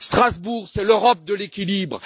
Strasbourg, c'est l'Europe de l'équilibre.